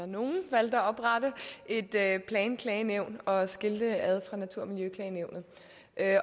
nogle valgte at oprette et planklagenævn og skille det ad fra natur og miljøklagenævnet